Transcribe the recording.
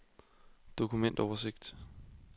dokumentoversigt